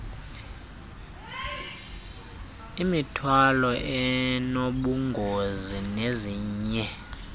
imithwalo enobungozi nezinye